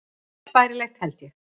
Allt bærilegt, held ég.